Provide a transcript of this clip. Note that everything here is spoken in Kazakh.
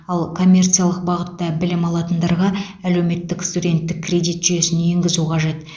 ал коммерциялық бағытта білім алатындарға әлеуметтік студенттік кредит жүйесін енгізу қажет